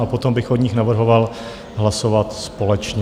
A potom bych o nich navrhoval hlasovat společně.